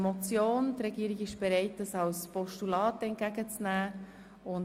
Die Regierung ist bereit, diese Motion in Form eines Postulats entgegenzunehmen.